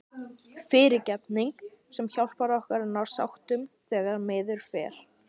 FYRIRGEFNING- sem hjálpar okkur að ná sáttum þegar miður fer.